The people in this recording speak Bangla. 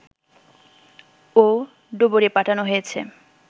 ও ডুবুরি পাঠানো হয়েছে